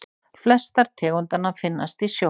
flestar tegundanna finnast í sjó